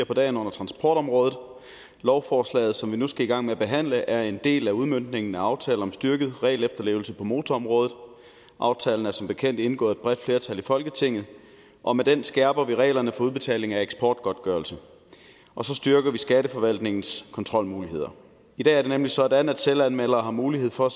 på dagen under transportområdet lovforslaget som vi nu skal i gang med at behandle er en del af udmøntningen af aftale om styrket regelefterlevelse på motorområdet aftalen er som bekendt indgået bredt flertal i folketinget og med den skærper vi reglerne for udbetaling af eksportgodtgørelse og så styrker vi skatteforvaltningens kontrolmuligheder i dag er det nemlig sådan at selvanmeldere har mulighed for